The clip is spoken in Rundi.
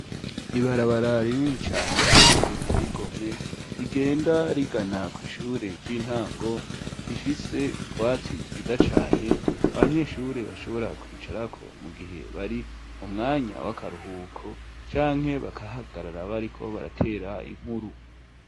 Ibarabara rinini cyane kandi riteye igommwe, rigenda rigana ku ishure ry'intango rifise utwatsi twita cyane abanyeshure bashobora kwicarako mu gihe bari umwanya w'akaruhuko canke bakahagarara bariko baratera inkuru.